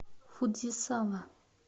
фудзисава